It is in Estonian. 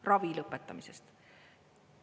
Ravi lõpetamisest.